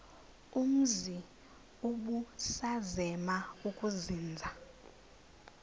umzi ubusazema ukuzinza